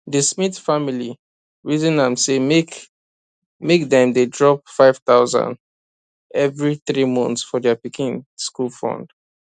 di smith family reason am say make make dem dey drop 5000 every three months for their pikin school fund